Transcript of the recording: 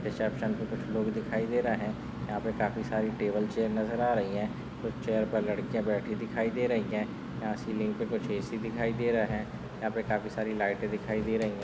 Reception पे कुछ लोग दिखाई दे रहे यहा पे काफी सारी टेबल चेयर नजर आ रही है कुछ चेयर पर लडकीय बैठी दिखाई दे रही है या सीलिंग पे कुछ ए.सी. दिखाई दे रहे है यहा पे काफी सारे लाइटे दिखाई दे रही है।